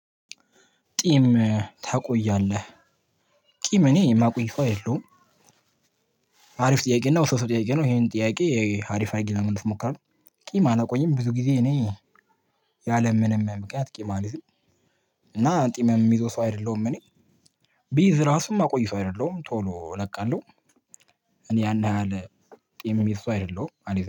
ቂም ታቆያለህ ቂም እኔ የማቆይ ሰው አይደለሁም። አሪፍ ጥያቄ ነው ዉስብስ ጥያቄ ነው ይሄን ጥያቄ አሪፍ አድርጌ ለመመለስ እሞክራለሁ። ቂም አላቆኝም ብዙ ጊዜ እኔ ያለምንም ምክንያት ቂም አልይዝም። እና ቂም የሚይዘው ሰው አይደለሁም። እኔ ብይዝ ራሱ የማቆይ ሰው አይደለሁም ቶሎ እለቃለሁ። እኔ ያን ያህል ቂም የምይዝ ሰው አይደለሁም